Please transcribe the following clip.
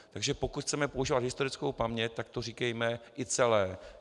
Takže pokud chceme používat historickou paměť, tak to říkejme i celé.